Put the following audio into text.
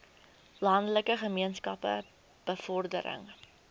landelike gemeenskappe bevordering